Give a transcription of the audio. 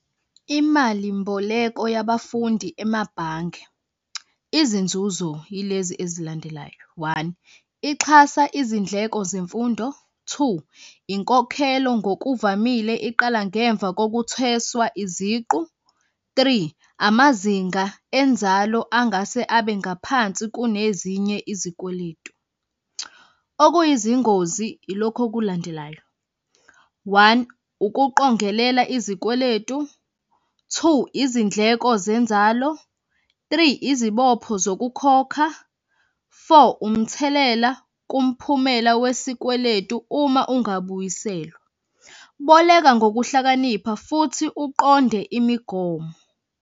Imalimboleko yabafundi emabhange, izinzuzo yilezi ezilandelayo, one, ixhasa izindleko zemfundo. Two, inkokhelo ngokuvamile iqala ngemva kokutheswa iziqu. Three, amazinga enzalo angase abe ngaphansi kunezinye izikweletu. Okuyizingozi ilokhu okulandelayo. One, ukuqongelela izikweletu. Two, izindleko zenzalo. Three, izibopho zokukhokha. Four, umthelela kumphumela wesikweletu uma ungabuyiselwa. Boleka ngokuhlakanipha futhi uqonde imigomo.